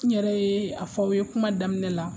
N yɛrɛ ye a fɔ aw ye kuma daminɛ la.